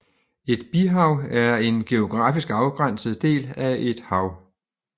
Et bihav er en geografisk afgrænset del af et hav